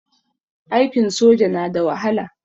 Aikin soja na da wahala.